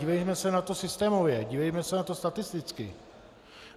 Dívejme se na to systémově, dívejme se na to statisticky.